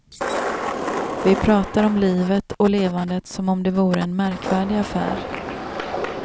Vi pratar om livet och levandet som om det vore en märkvärdig affär.